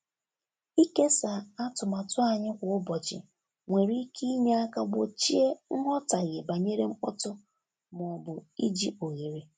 Ịkesa atụmatụ anyị kwa ụbọchị nwere ike inye aka gbochie nghọtahie banyere mkpọtụ ma ọ bụ iji oghere.